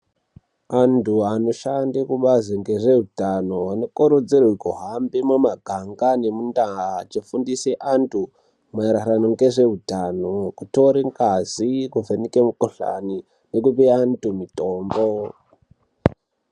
Antu anoshanda kubazi rezvehutano anokurudzirwa kuhamba mumaganga nemundaa dzinofundisa antu maererano nezvehutano kutore ngazi kuvheneka mikuhlani nekupe antu mitombo.